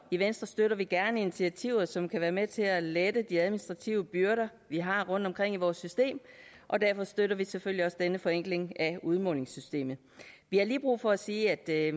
i venstre støtter vi gerne initiativer som kan være med til at lette de administrative byrder vi har rundtomkring i vores system og derfor støtter vi selvfølgelig også denne forenkling af udmålingssystemet vi har lige brug for at sige at det